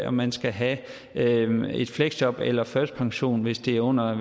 om man skal have et fleksjob eller førtidspension hvis det er under jeg